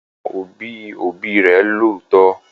Àwọn òbí òbí rẹ̀ ló tọ